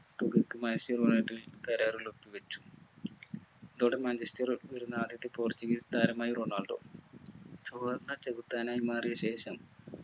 manchester മായിട്ടു കരാറിൽ ഒപ്പുവച്ചു. ഇതോടെ manchester ൽ വരുന്ന ആദ്യത്തെ portuguese താരമായി റൊണാൾഡോ ചുവന്ന ചെകുത്താനായി മാറിയ ശേഷം